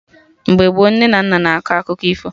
Mgbe gboo, nne na nna na akọ akụkọ ifo